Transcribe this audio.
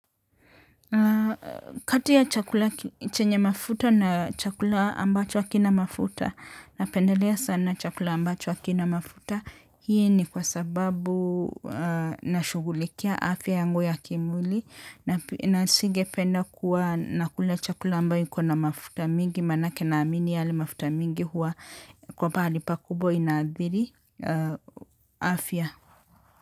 Kati ya chakula chenye mafuta na chakula ambacho hakina mafuta napendelea sana chakula ambacho hakina mafuta hii ni kwa sababu nashughulikia afya yangu ya kimwili na singependa kuwa nakula chakula ambayo iko na mafuta mingi maanake naamini yale mafuta mingi huwa kwa pahali pakubwa inaathiri afya.